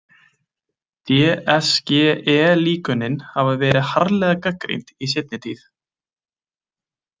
DSGE-líkönin hafa verið harðlega gagnrýnd í seinni tíð.